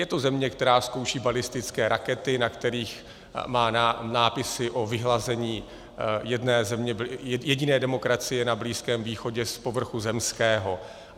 Je to země, která zkouší balistické rakety, na kterých má nápisy o vyhlazení jediné demokracie na Blízkém východě z povrchu zemského.